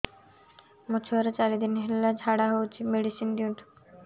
ମୋର ଛୁଆର ଚାରି ଦିନ ହେଲା ଝାଡା ହଉଚି ମେଡିସିନ ଦିଅନ୍ତୁ